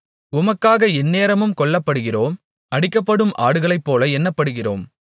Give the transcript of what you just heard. உமக்காக எந்நேரமும் கொல்லப்படுகிறோம் அடிக்கப்படும் ஆடுகளைப்போல எண்ணப்படுகிறோம்